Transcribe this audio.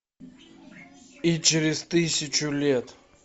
и через тысячу лет